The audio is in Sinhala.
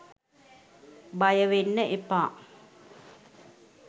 බයවෙන්න එපා.